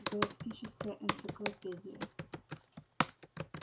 галактическая энциклопедия